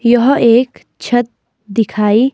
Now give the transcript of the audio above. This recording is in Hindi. यह एक छत दिखाई--